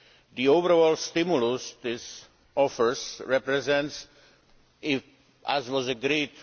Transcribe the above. The overall stimulus this offers represents, as was agreed,